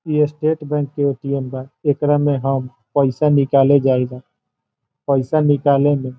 इ state bank के ATM. बा | एकरा में हम पईसा निकाले जाईला | पईसा निकले में --